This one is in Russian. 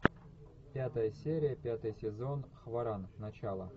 пятая серия пятый сезон хваран начало